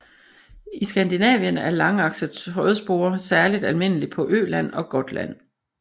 I Skandinavien er langakset trådspore særligt almindelig på Öland og Gotland